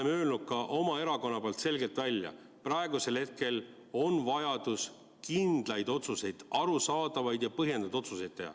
Ma olen öelnud ka oma erakonna nimel selgelt välja: praegusel hetkel on vaja teha kindlaid otsuseid, arusaadavaid ja põhjendatud otsuseid.